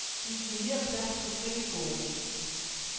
Det giver mere plads på skrivebordet.